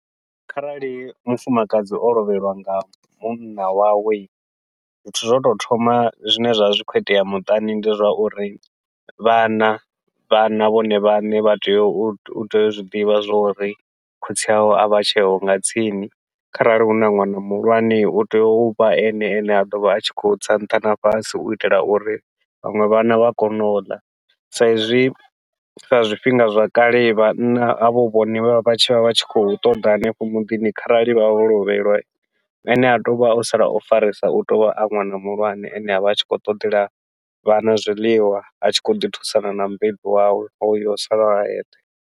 Kharali mufumakadzi o lovheliwa nga munna wawe, zwithu zwa utou thoma zwine zwa zwi khou itea muṱani ndi zwa uri vhana vhana vhone vhaṋe vha tea utea u zwiḓivha zwa uri khotsi avho avha tsheho nga tsini, kharali huna ṅwana muhulwane utea uvha ene ane a ḓovha a tshi khou tsa nṱha na fhasi uitela uri vhaṅwe vhana vha kone uḽa. Sa izwi sa zwifhinga zwa kale vhanna hovho hu vhone vha vha vha tshi vha vha tshi khou ṱoḓa hanefho muḓini kharali vha vha vho lovhelwa, atea uvha o sala o farisa utea uvha a ṅwana muhulwane ane avha a tshi khou ṱoḓela vhana zwiḽiwa, a tshi khou ḓi thusana na mubebi wawe hoyo o salaho a eṱhe.